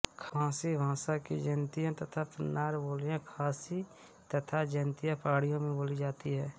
खासी भाषा की जयंतिया तथा प्नार बोलियाँ खासी तथा जयंतिया पहाड़ियों में बोली जाती है